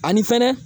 Ani fɛnɛ